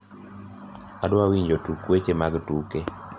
adwa winjo tuk weche mag tuke